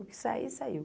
O que sair, saiu.